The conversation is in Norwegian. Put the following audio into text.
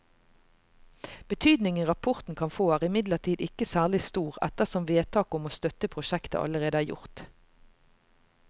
Betydningen rapporten kan få er imidlertid ikke særlig stor ettersom vedtaket om å støtte prosjektet allerede er gjort.